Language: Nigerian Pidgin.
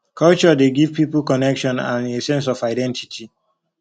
culture dey give pipo connection and a sense of identity